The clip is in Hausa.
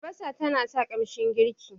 Albasa tana ƙara kamshin girki.